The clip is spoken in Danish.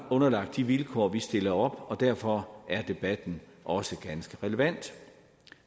underlagt de vilkår vi stiller op og derfor er debatten også ganske relevant